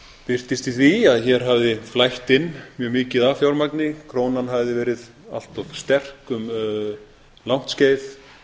birtist í því að hér hafði flætt inn mjög mikið af fjármagni krónan hafði verið allt of sterk um langt skeið